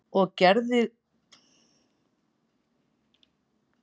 Og gerðirðu það?